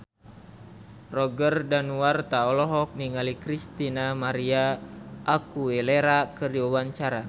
Roger Danuarta olohok ningali Christina María Aguilera keur diwawancara